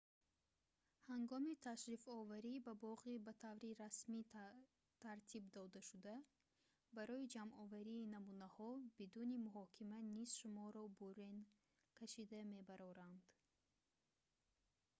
ҳангоми ташрифоварӣ ба боғи ба таври расмӣ тартиб додашуда барои ҷамъоварии намунаҳо бидуни муҳокима низ шуморо бурен кашида мебароранд